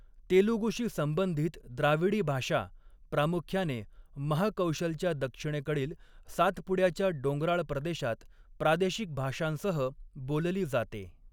तेलुगुशी संबंधित द्राविडी भाषा, प्रामुख्याने महाकौशलच्या दक्षिणेकडील सातपुड्याच्या डोंगराळ प्रदेशात प्रादेशिक भाषांसह बोलली जाते.